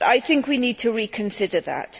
I think we need to reconsider that.